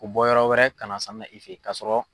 K'u bɔ yɔrɔ wɛrɛ ka na sannina i fɛ ye k'a sɔrɔ